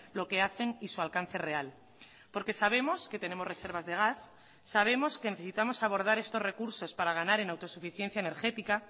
lo que hacen y su alcance real porque sabemos que tenemos reservas de gas sabemos que necesitamos abordar estos recursos para ganar en autosuficiencia energética